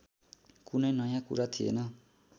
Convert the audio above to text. कुनै नयाँ कुरा थिएन